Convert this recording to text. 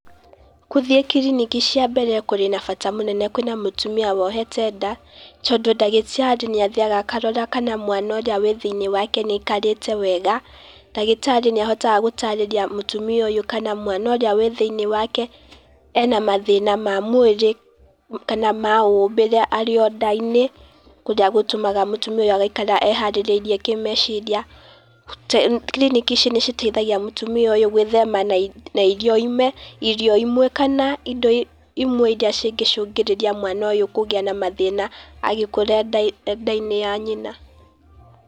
Gũthiĩ kiriniki cia mbere kũrĩ na bata mũnene kwĩna mũtumia wohete nda, tondũ ndagĩtari nĩ athiaga akarora kana mwana ũrĩa wĩ thĩiniĩ wake nĩ aikarĩte wega, ndagĩtarĩ nĩ ahotaga gũtarĩria mũtũmia ũyũ kana mwana ũrĩa wĩ thĩiniĩ wake ena mathĩna ma mwĩrĩ kana ma ũmbĩre arĩ o nda-inĩ, kũrĩa gũtũmaga mũtumia ũyũ agaikara eharĩrĩirie kĩmeciria. Kiriniki ici nĩ citeithagia mũtimia ũyũ gwĩthema na irio imwe kana indo imwe iria cingĩcũngĩrĩria mwana ũyũ kũgĩa na mathĩna agĩkũra e nda-inĩ ya nyina,